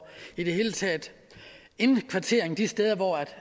indkvartering de steder hvor